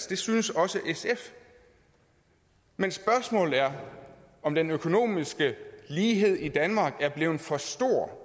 det synes også sf men spørgsmålet er om den økonomiske lighed i danmark er blevet for stor og